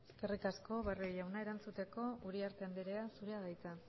eskerrik asko barrio jauna erantzuteko uriarte andrea zurea da hitza